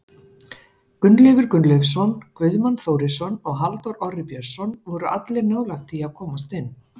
Gunnleifur Gunnleifsson, Guðmann Þórisson og Halldór Orri Björnsson voru allir nálægt því að komast inn.